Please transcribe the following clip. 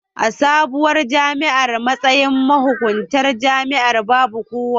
A sabuwar jami'ar, matsayin mahuƙuntar jami'an babu kowa.